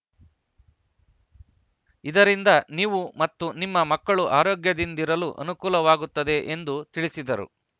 ಇದರಿಂದ ನೀವು ಮತ್ತು ನಿಮ್ಮ ಮಕ್ಕಳು ಆರೋಗ್ಯದಿಂದಿರಲು ಅನುಕೂಲವಾಗುತ್ತದೆ ಎಂದು ತಿಳಿಸಿದರು